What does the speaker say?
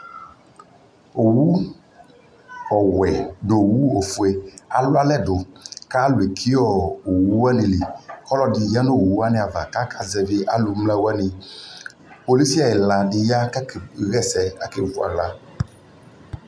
Owu ɔwɛ nu owu ofue alu alɛ du ka lu ɛki owu wani liƆlɔ di ni ya nu owu wani ava kaka zɛvi alu mla waniPolisi ɛla di ya ka kɛ ɣɛ sɛ kakɛ vʋ ala